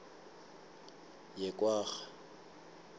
yekwarha